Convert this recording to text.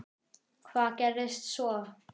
Hvað gerðist svo!?